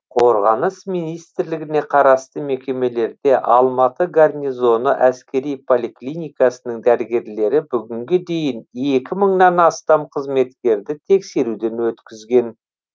қорғаныс министрлігіне қарасты мекемелерде алматы горнизоны әскери поликлиникасының дәрігерлері бүгінге дейін екі мыңнан астам қызметкерді тексеруден өткізген